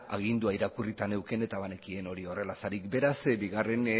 agindua irakurrita neukan eta banekien hori horrela zela beraz bigarren